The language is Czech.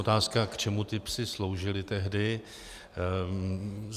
Otázka, k čemu ti psi sloužili tehdy.